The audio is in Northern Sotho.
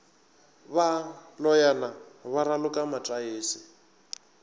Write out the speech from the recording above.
ba loyana ba raloka mataese